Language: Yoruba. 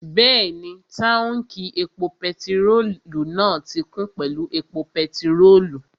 Bẹ́ẹ̀ni, táùnkì epo pẹtirólù náà ti kún pẹ̀lú epo pẹtirólù